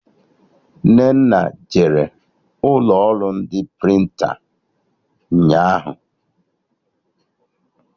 Nnenna jere ụlọ ọrụ ndị prịntịn ụnyaahụ